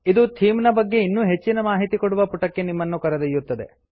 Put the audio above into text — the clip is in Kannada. ಇದು ಥೀಮ್ ನ ಬಗ್ಗೆ ಇನ್ನೂ ಹೆಚ್ಚಿನ ಮಾಹಿತಿ ಕೊಡುವ ಪುಟಕ್ಕೆ ನಿಮ್ಮನ್ನು ಕರೆದೊಯ್ಯುತ್ತದೆ